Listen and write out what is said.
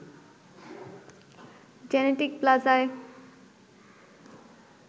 genetic প্লাজায়